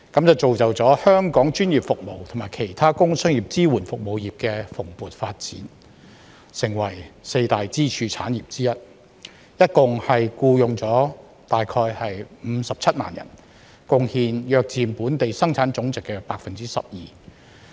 這造就了香港專業服務及其他工商業支援服務業的蓬勃發展，成為四大支柱產業之一，共僱用約57萬人，貢獻約佔本地生產總值 12%。